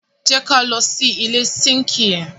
Jẹ ká lọ sí ilẹ̀ sínkì yẹn.